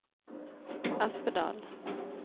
Espedal